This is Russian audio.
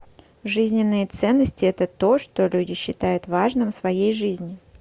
жизненные ценности это то что люди считают важным в своей жизни